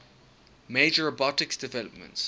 major robotics developments